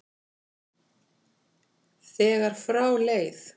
þegar frá leið.